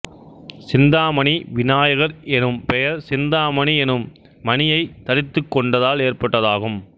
சிந்தாமணி விநாயகர் எனும் பெயர் சிந்தாமணி எனும் மணியைத் தரித்துக் கொண்டதால் ஏற்பட்டதாகும்